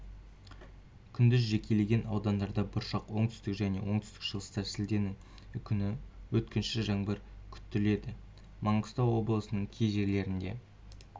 күндіз жекелеген аудандарда бұршақ оңтүстік және оңтүстік-шығыста шілденің ікүні өткінші жаңбыр күтіледі маңғыстау облысының кей жерлерінде